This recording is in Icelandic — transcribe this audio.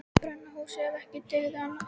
Brenna húsin ef ekki dygði annað.